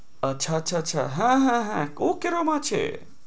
আচ্ছা, আচ্ছা, আচ্ছা হ্যাঁ হ্যাঁ হ্যাঁ ও কিরকম আছে?